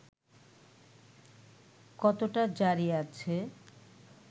কতটা জারি আছে